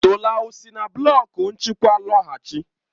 Tola ọ sile na blọk nchịkwa lọghachi?